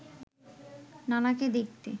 নানাকে দেখতে